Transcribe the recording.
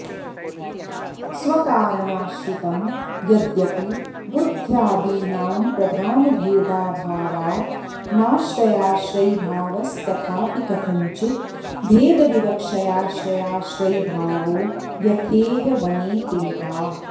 स्वकारणाश्रितम् यद्यपि बुद्ध्यादीनां प्रधानभेदाभावात् नाश्रयाश्रयिभावस्तथापि कथञ्चित् भेदविवक्षयाश्रयाश्रयिभावो यथेह वने तिलकाः